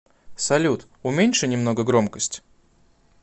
салют уменьши немного громкость